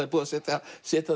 er búið að setja setja